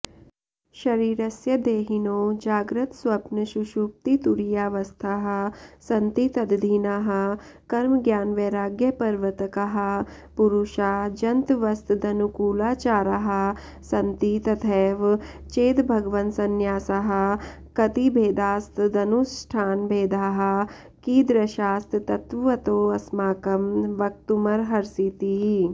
शरीरस्य देहिनो जाग्रत्स्वप्नसुषुप्तितुरीयावस्थाः सन्ति तदधीनाः कर्मज्ञानवैराग्यप्रवर्तकाः पुरुषा जन्तवस्तदनुकूलाचाराः सन्ति तथैव चेद्भगवन्संन्यासाः कतिभेदास्तदनुष्ठानभेदाः कीदृशास्तत्त्वतोऽस्माकं वक्तुमर्हसीति